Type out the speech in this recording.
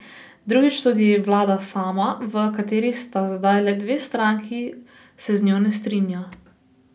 Drugič, tudi vlada sama, v kateri sta zdaj le dve stranki, se z njo ne strinja.